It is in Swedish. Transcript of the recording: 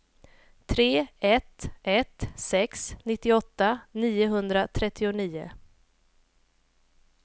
tre ett ett sex nittioåtta niohundratrettionio